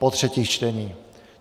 Po třetích čteních.